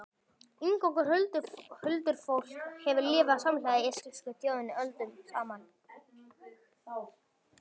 Inngangur Huldufólk hefur lifað samhliða íslensku þjóðinni öldum saman.